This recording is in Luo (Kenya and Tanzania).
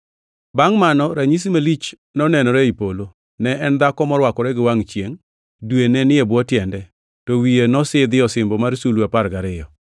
Bangʼ mano ranyisi malich nonenore ei polo. Ne en dhako morwakore gi wangʼ chiengʼ. Dwe ne ni e bwo tiende, to wiye nosidhie osimbo mar sulwe apar gariyo.